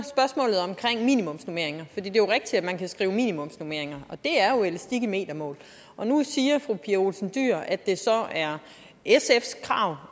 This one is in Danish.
i minimumsnormeringer er det jo rigtigt at man kan skrive minimumsnormeringer er jo elastik i metermål og nu siger fru pia olsen dyhr at det er sfs krav